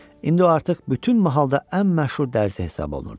İndi o artıq bütün mahalda ən məşhur dərzi hesab olunurdu.